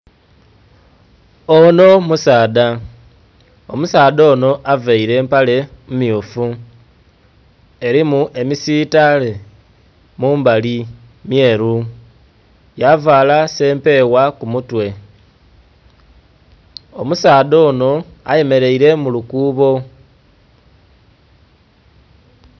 Onho musaadha, omusaadha Ono avaire empale mmyufu erimu emisitale mumbali mmyeru, yavala sempebwa kumutwe. Omusaadha onho aye mereire mu lukuubo.